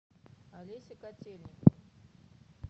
олеся котельникова